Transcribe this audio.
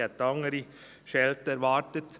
Ich habe eine andere Schelte erwartet.